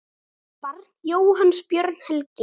Barn Jóhanns Björn Helgi.